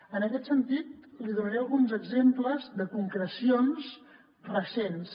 en aquest sentit li donaré alguns exemples de concrecions recents